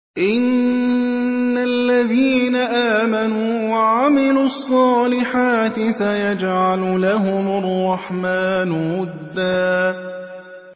إِنَّ الَّذِينَ آمَنُوا وَعَمِلُوا الصَّالِحَاتِ سَيَجْعَلُ لَهُمُ الرَّحْمَٰنُ وُدًّا